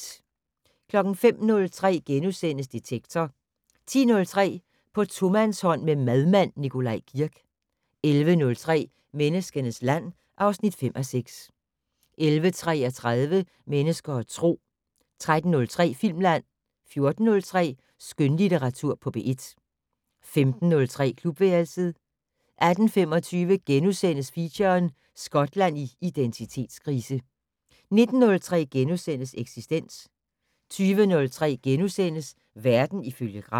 05:03: Detektor * 10:03: På tomandshånd med madmand Nikolaj Kirk 11:03: Menneskenes land (5:6) 11:33: Mennesker og Tro 13:03: Filmland 14:03: Skønlitteratur på P1 15:03: Klubværelset 18:25: Feature: Skotland i identitetskrise * 19:03: Eksistens * 20:03: Verden ifølge Gram *